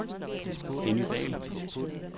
Henny Dall